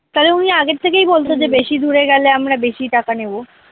তালে উনি আগে থেকেই বলতেন যে বেশি দুরে গেলে আমরা বেশি টাকা নেব